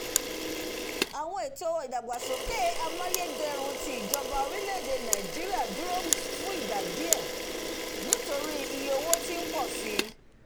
àwọn ètò ìdàgbàsókè àmàyédẹrùn tí ìjọba orílẹ̀-èdè nàìjíríà dúró fún ìgbà díẹ̀ nitori iye owó tí ń pọ̀ sí